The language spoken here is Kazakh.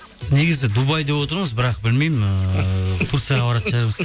негізі дубай деп отырмыз бірақ білмеймін ііі турцияға баратын шығармыз